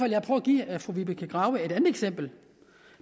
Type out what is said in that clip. jeg prøve at give fru vibeke grave et andet eksempel